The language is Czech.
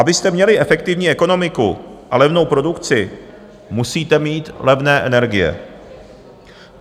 Abyste měli efektivní ekonomiku a levnou produkci, musíte mít levné energie.